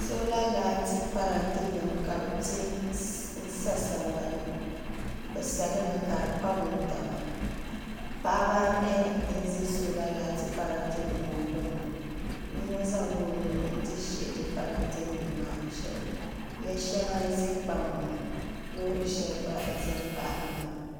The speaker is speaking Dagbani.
soola laati parantenima ka bɛ sansa sambani ni bɛ sa li mi ka di kpa wuntaŋa paɣiba anahi n-ze sola laati parantenima gbuni ŋɔ yino zaŋla o nuu nti shihi di parantenima maa shɛli ya shɛŋa n-ze kpaŋa ŋɔ loori shɛli gba n-ze n-baɣi li maa